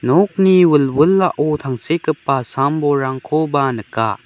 nokni wilwilao tangsekgipa sam-bolrangkoba nika.